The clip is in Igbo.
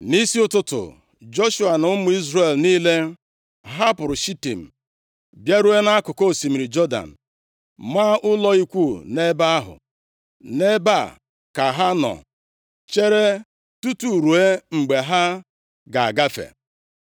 Nʼisi ụtụtụ, Joshua na ụmụ Izrel niile hapụrụ Shitim bịaruo nʼakụkụ osimiri Jọdan, maa ụlọ ikwu nʼebe ahụ. Nʼebe a ka ha nọ chere tutu ruo mgbe ha ga-agafe.